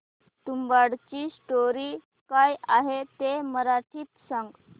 तुंबाडची स्टोरी काय आहे ते मराठीत सांग